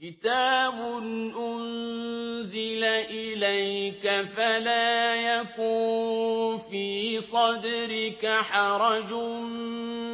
كِتَابٌ أُنزِلَ إِلَيْكَ فَلَا يَكُن فِي صَدْرِكَ حَرَجٌ